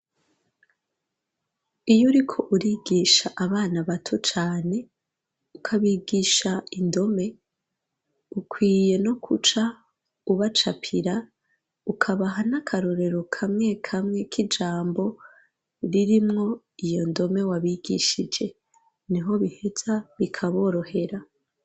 Iyo uriko urigisha abana bato cane ukabigisha indome ukwiye no kuca ubacapira ukabaha n'akarorero kamwe kamwe k'ijambo ririmwo iyo ndome wabigishije niho biheza bikaborohera.